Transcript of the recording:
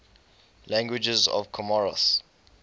languages of comoros